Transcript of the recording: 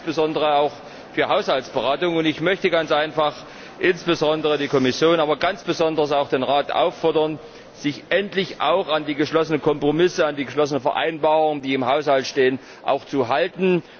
Das gilt insbesondere auch für Haushaltsberatungen, und ich möchte insbesondere die Kommission, aber ganz besonders auch den Rat auffordern, sich endlich auch an die geschlossenen Kompromisse, an die geschlossenen Vereinbarungen, die im Haushalt stehen, zu halten.